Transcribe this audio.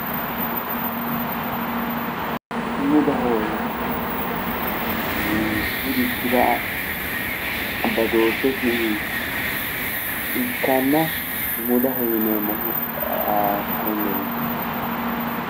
Sumudaho yineemmohu mitturichira badooshshesi ikkanna sumudaho yineemmohu konnerichooti.